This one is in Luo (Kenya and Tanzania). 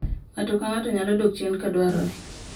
Ng’ato ka ng’ato nyalo dok chien ka dwarore